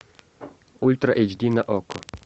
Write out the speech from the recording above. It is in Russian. ультра эйч ди на окко